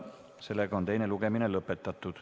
Sellega on teine lugemine lõpetatud.